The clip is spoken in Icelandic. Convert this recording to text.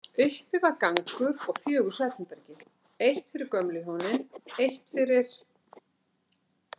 Uppi var gangur og fjögur svefnherbergi, eitt fyrir gömlu hjónin, eitt fyrir